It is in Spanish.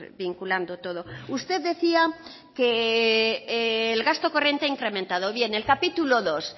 vinculando todo usted decía que el gasto corriente ha incrementado bien el capítulo segundo